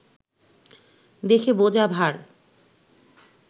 দেখে বোঝা ভার